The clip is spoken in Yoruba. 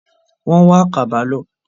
Wọ́n wá àkàbà lọ.